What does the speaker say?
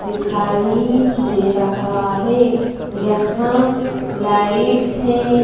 दिखाई दे रहा है यहां लाइट्स हैं।